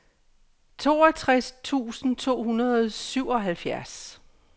toogtres tusind to hundrede og syvoghalvfjerds